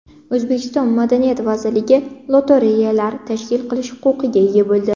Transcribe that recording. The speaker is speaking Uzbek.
O‘zbekiston Madaniyat vazirligi lotereyalar tashkil qilish huquqiga ega bo‘ldi.